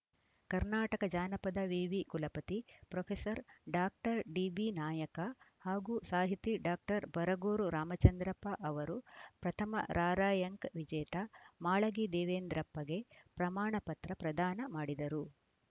ಕರ್ನಾಟಕ ಜಾನಪದ ವಿವಿ ಕುಲಪತಿ ಪ್ರೊಫೆಸರ್ ಡಾಕ್ಟರ್ ಡಿಬಿ ನಾಯಕ ಹಾಗೂ ಸಾಹಿತಿ ಡಾಕ್ಟರ್ ಬರಗೂರು ರಾಮಚಂದ್ರಪ್ಪ ಅವರು ಪ್ರಥಮ ರಾರ‍ಯಂಕ್‌ ವಿಜೇತ ಮಾಳಗಿ ದೇವೇಂದ್ರಪ್ಪಗೆ ಪ್ರಮಾಣ ಪತ್ರ ಪ್ರದಾನ ಮಾಡಿದರು